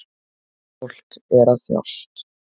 Fólk er að þjást